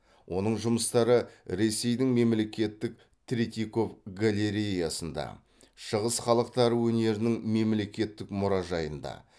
оның жұмыстары ресейдің мемлекеттік третьяков галереясында шығыс халықтары өнерінің мемлекеттік мұражайында